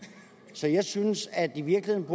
så jeg synes at det i virkeligheden